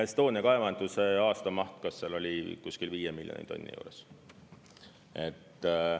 Estonia kaevanduse aastamaht oli kuskil 5 miljoni tonni juures.